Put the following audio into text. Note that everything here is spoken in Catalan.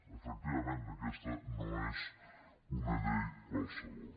efectivament aquesta no és una llei qualsevol